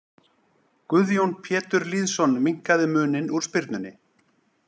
Guðjón Pétur Lýðsson minnkaði muninn úr spyrnunni.